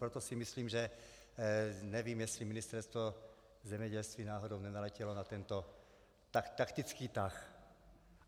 Proto si myslím, že nevím, jestli Ministerstvo zemědělství náhodou nenaletělo na tento taktický tah.